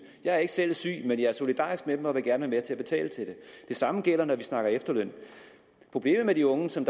jeg er ikke selv syg men jeg er solidarisk med dem og vil gerne være med til at betale til dem det samme gælder når vi snakker efterløn problemet med de unge som